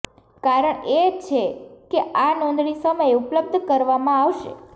કારણ એ છે કે આ નોંધણી સમયે ઉપલબ્ધ કરવામાં આવશે